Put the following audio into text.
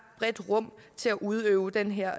bredt rum til at udøve den her